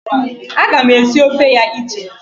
Aga m esi ofe ya iche.